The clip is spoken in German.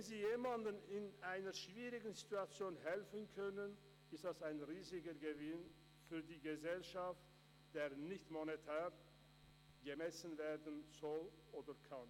Wenn sie jemandem in einer schwierigen Situation helfen können, ist das ein riesiger Gewinn für die Gesellschaft, der nicht monetär gemessen werden soll oder kann.